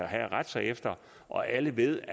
havde at rette sig efter og alle ville